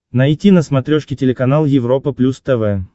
найти на смотрешке телеканал европа плюс тв